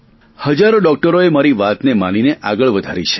હજારો ડોકટરોએ મારી વાતને માનીને આગળ વધારી છે